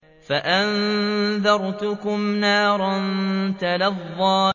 فَأَنذَرْتُكُمْ نَارًا تَلَظَّىٰ